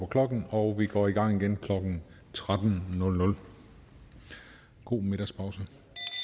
klokken og vi går i gang igen klokken tretten god middagspause